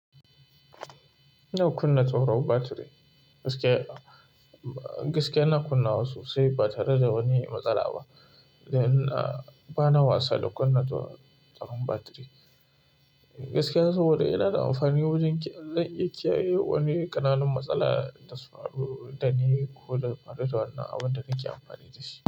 Yau kunna tsaro battery gaskiya, gaskiya na kunna wa sosai ba tare da wani matsala ba. Gaskiya bana wasa da kunna tsaron battery. Gaskiya saboda yana da amfani wajen kyan yi wani ƙananan matsala da su haɗu da ni ko da faɗaɗa wannan abin da nake amfani da shi.